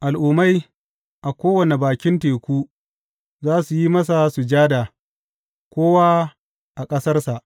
Al’ummai a kowane bakin teku za su yi masa sujada, kowa a ƙasarsa.